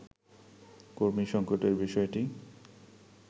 কর্মী সংকটের বিষয়টি